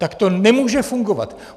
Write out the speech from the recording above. Tak to nemůže fungovat.